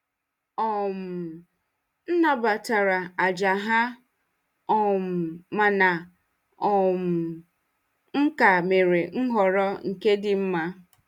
um M nabatara àjà ha um mana um m ka mere nhọrọ nke dị mma.